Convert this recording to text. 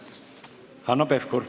Hanno Pevkur.